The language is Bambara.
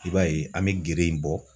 I b'a ye an bɛ gere in bɔ.